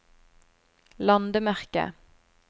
landemerke